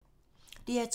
DR2